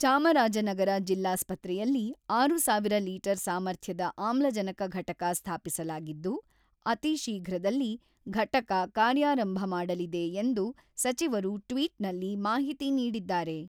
ಚಾಮರಾಜನಗರ ಜಿಲ್ಲಾಸ್ಪತ್ರೆಯಲ್ಲಿ ಆರು ಸಾವಿರ ಲೀಟರ್ ಸಾಮರ್ಥ್ಯದ ಆಮ್ಲಜನಕ ಘಟಕ ಸ್ಥಾಪಿಸಲಾಗಿದ್ದು, ಅತೀ ಶೀಘ್ರದಲ್ಲಿ ಘಟಕ ಕಾರ್ಯಾರಂಭ ಮಾಡಲಿದೆ ಎಂದು ಸಚಿವರು ಟ್ವಿಟ್‌ನಲ್ಲಿ ಮಾಹಿತಿ ನೀಡಿದ್ದಾರೆ.